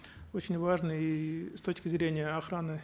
очень важный и с точки зрения охраны